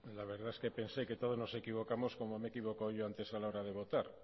la verdad es que pensé que todos nos equivocamos como me he equivocado yo antes a la hora de votar